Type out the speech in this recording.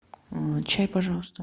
чай пожалуйста